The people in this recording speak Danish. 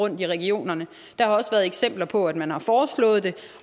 i regionerne der har også været eksempler på at man har foreslået det